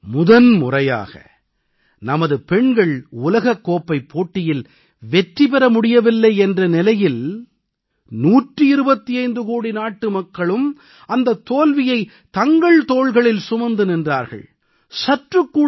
ஆனால் முதன் முறையாக நமது பெண்கள் உலகக் கோப்பைப் போட்டியில் வெற்றி பெற முடியவில்லை என்ற நிலையில் 125 கோடி நாட்டுமக்களும் அந்தத் தோல்வியை தங்கள் தோள்களில் சுமந்து நின்றார்கள்